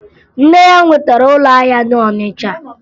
Nne ya nwetara ụlọahịa na Ọnịcha